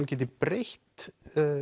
geti breytt